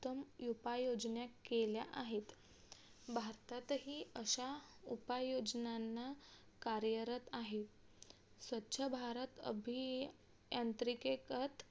उत्तम उपाय योजना केल्या आहेत. भारतातही अश्या उपाययोजनांना कार्यरत आहे. स्वच्छभारत अभियांत्रिकेतच